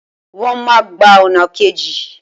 Wọ́n máa gba ọ̀nà kejì